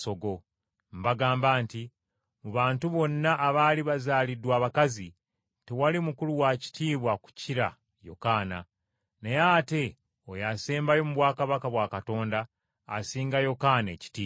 “Mbagamba nti, mu bantu bonna abaali bazaaliddwa abakazi, tewali mukulu wa kitiibwa kukira Yokaana, naye ate oyo asembayo mu bwakabaka bwa Katonda asinga Yokaana ekitiibwa.”